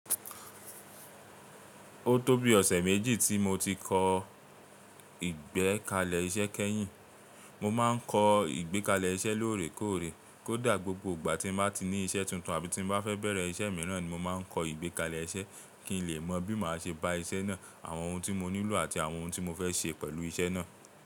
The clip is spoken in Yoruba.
Ó tó bí ọ̀sẹ̀ méjì tí mo ti kọ ìgbẹ́kalẹ̀ iṣẹ́ kẹ́yìn. Mo máa ń kọ ìgbẹ́kalẹ̀ iṣẹ́ lóòrèkóòrè. Kódà gbogbo ìgbà ti n bá ti ní iṣẹ́ tuntun àbí tí n bá fẹ́ bẹ̀rẹ̀ iṣẹ́ mìíràn ni mo máa ń kọ ìgbẹ́kalẹ̀ iṣẹ́ kí n lè mọ bí màá ṣe bá iṣẹ́ náà, àwọn ohun tí mo nílò àti àwọn ohun tí mo fẹ́ ṣe pẹ̀lú iṣẹ́ náà.